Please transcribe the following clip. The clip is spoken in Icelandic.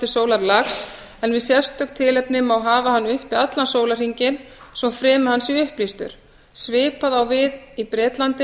sólarlags en við sérstök tilefni má hafa hann uppi allan sólarhringinn svo fremi að hann sé upplýstur svipað á við í bretlandi þar